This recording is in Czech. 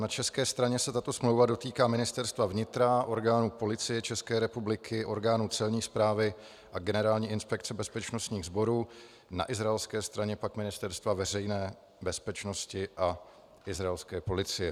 Na české straně se tato smlouva dotýká Ministerstva vnitra, orgánů Policie České republiky, orgánů Celní správy a Generální inspekce bezpečnostních sborů, na izraelské straně pak Ministerstva veřejné bezpečnosti a izraelské policie.